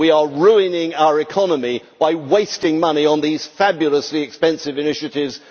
We are ruining our economy by wasting money on these fabulously expensive initiatives.